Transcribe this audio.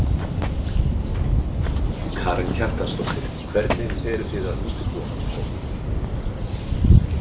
Karen Kjartansdóttir: Hvernig eru þið undirbúin hans komu?